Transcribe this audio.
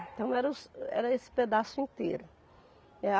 Então era os era esse pedaço inteiro, é a